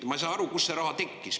Ma ei saa aru, kust see raha tekkis.